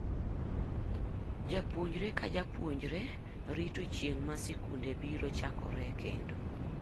Japuonjre ka japuonjre rito chieng' ma sikunde biro chakore kendo.